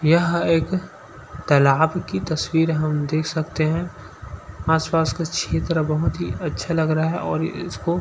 यह एक तालाब की तस्वीर हम देख सकते हैं। आसपास के क्षेत्र बहुत ही अच्छा लग रहा है और इसको--